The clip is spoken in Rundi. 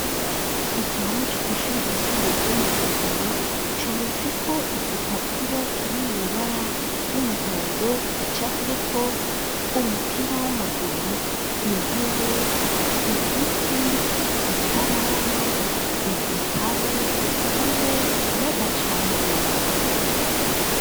Igihome, co kw'ishuri ryisumbaye, ryo mu Rutegama, cometseko igipapuro, kiri mw'ibara ry'umuhondo; gicafyeko: umupira w'amaguru, intebe, igiti, ikaramu, igitabo, hamwe n'agacamurongo.